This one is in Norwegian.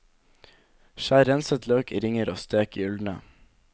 Skjær renset løk i ringer og stek gyldne.